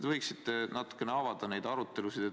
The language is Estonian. Te võiksite natukene avada neid arutelusid.